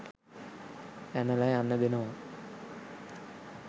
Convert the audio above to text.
පැනලා යන්න දෙනවා.